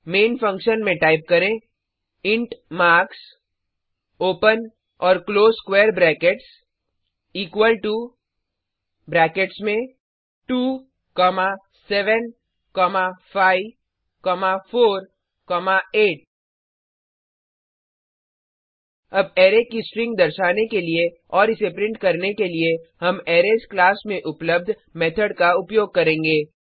man function में type करें int marks open और close square brackets equal to brackets में 2 7 5 4 8 अब अरै की स्ट्रिंग दर्शाने के लिए और इसे प्रिंट करने के लिए हम अरैज क्लास में उपलब्ध मेथड का उपयोग करेंगे